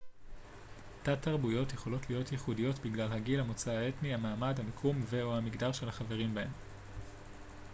תת-תרבויות יכולות להיות ייחודיות בגלל הגיל המוצא האתני המעמד המיקום ו/או המגדר של החברים בהן